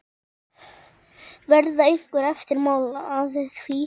Verða einhver eftirmál að því?